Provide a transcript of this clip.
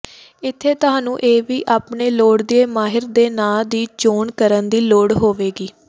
ਇੱਥੇ ਤੁਹਾਨੂੰ ਇਹ ਵੀ ਆਪਣੇ ਲੋੜੀਦੀ ਮਾਹਰ ਦੇ ਨਾਮ ਦੀ ਚੋਣ ਕਰਨ ਦੀ ਲੋੜ ਹੋਵੇਗੀ